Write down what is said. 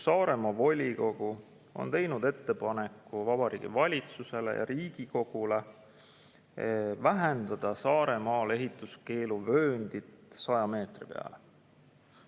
Saaremaa volikogu tegi ettepaneku Vabariigi Valitsusele ja Riigikogule vähendada Saaremaal ehituskeeluvööndit 100 meetri peale.